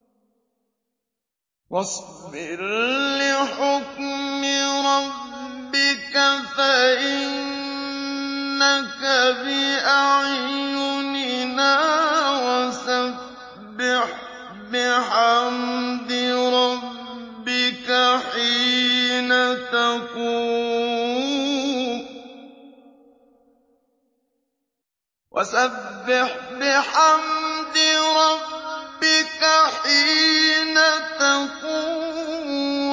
وَاصْبِرْ لِحُكْمِ رَبِّكَ فَإِنَّكَ بِأَعْيُنِنَا ۖ وَسَبِّحْ بِحَمْدِ رَبِّكَ حِينَ تَقُومُ